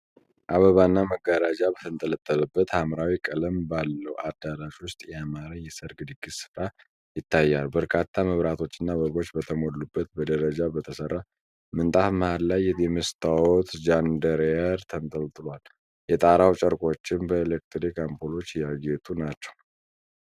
አበባና መጋረጃ በተንጠለጠለበት ሐምራዊ ቀለም ባለው አዳራሽ ውስጥ ያማረ የሠርግ ድግስ ሥፍራ ይታያል። በርካታ መብራቶችና አበቦች በተሞሉበት በደረጃ በተሠራ ምንጣፍ መሃል ላይ የመስታወት ቻንደርሊየር ተንጠልጥሏል፤ የጣራው ጨርቆችም በኤሌክትሪክ አምፖሎች ያጌጡ ናቸው።